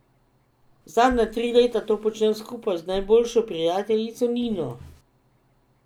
Zadnja tri leta to počnem skupaj z najboljšo prijateljico Nino.